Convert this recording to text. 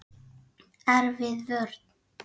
Erfið vörn.